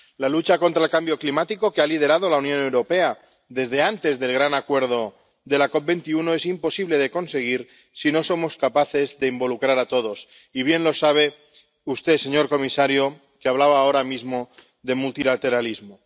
La lucha contra el cambio climático que ha liderado la Unión Europea desde antes del gran acuerdo de la COP21 es imposible de conseguir si no somos capaces de involucrar a todos —y bien lo sabe usted, señor comisario, que hablaba ahora mismo de multilateralismo—.